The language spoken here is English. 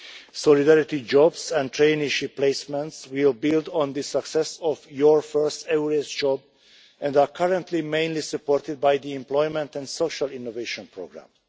Solidarity jobs and traineeship placements will build on the success of Your first EURES job' and are currently mainly supported by the Employment and Social Innovation Programme.